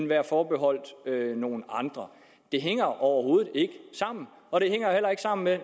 være forbeholdt nogle andre det hænger overhovedet ikke sammen og det hænger heller ikke sammen med